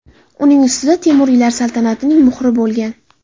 Uning ustida Temuriylar saltanatining muhri bo‘lgan.